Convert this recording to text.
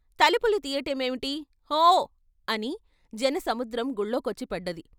తలుపులు తీయటమేమిటీ "హో " అని జన సముద్రం గుళ్లోకొచ్చి పడ్డది.